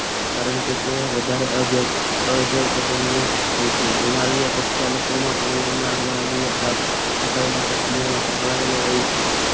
કારણ કે તે વધારે અજ અજગટનીય હોય છે ઋણલિયા પ્રક્ષાલકો માં અણુ ના ઋણલિયા ભાગ સફાઈ માટે ક્રિયા માટે સંકળાયેલો હોય છે